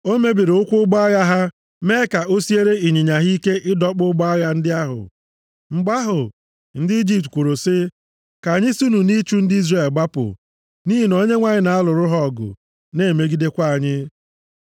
O mebiri ụkwụ ụgbọ agha ha mee ka o siere ịnyịnya ha ike ịdọkpụ ụgbọ agha ndị ahụ. Mgbe ahụ, ndị Ijipt kwuru sị, “Ka anyị sinụ nʼịchụ ndị Izrel gbapụ, nʼihi na Onyenwe anyị na-alụrụ ha ọgụ, na-emegidekwa anyị.”